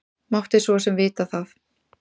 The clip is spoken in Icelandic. Mátti svo sem vita það.